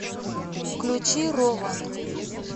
включи рован